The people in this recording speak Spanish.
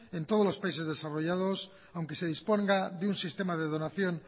en todos los países desarrollados aunque se disponga de un sistema de donación